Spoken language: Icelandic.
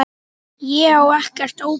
Ég á ekkert ópal